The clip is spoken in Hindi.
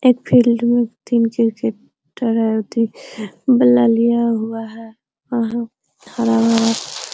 एक फील्ड में तीन क्रिकेटर हैं और ती बल्ला लिया हुआ है और वहाँ खड़ा हुआ है।